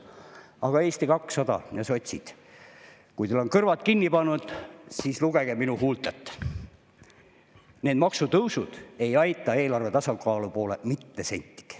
Aga Eesti 200 ja sotsid, kui teil on kõrvad kinni pannud, siis lugege minu huultelt: need maksutõusud ei aita eelarve tasakaalu poole mitte sentigi.